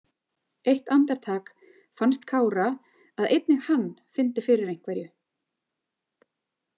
Eitt andartak fannst Kára að einnig hann fyndi fyrir einhverju.